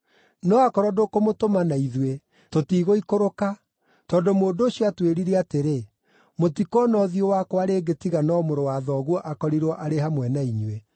No akorwo ndũkũmũtũma na ithuĩ, tũtigũikũrũka, tondũ mũndũ ũcio aatwĩrire atĩrĩ, ‘Mũtikoona ũthiũ wakwa rĩngĩ tiga no mũrũ wa thoguo akorirwo arĩ hamwe na inyuĩ.’ ”